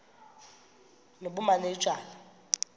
nobumanejala